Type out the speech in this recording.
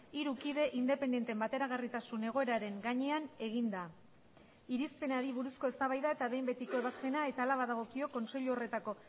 hiru kide independenteen bateragarritasun egoeraren gainean eginda irizpenari buruzko eztabaida eta behin betiko ebazpena eta hala badagokio kontseilu horretako